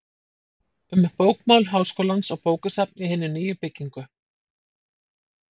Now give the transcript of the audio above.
Um bókamál Háskólans og bókasafn í hinni nýju byggingu